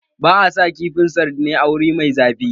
Ba a sa kifin sardine a wuri mai zafi.